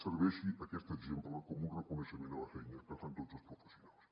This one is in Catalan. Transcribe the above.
serveixi aquest exemple com un reconeixement a la feina que fan tots els professionals